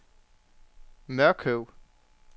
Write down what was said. Mørkøv